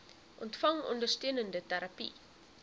ontvang ondersteunende terapie